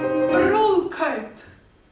brúðkaup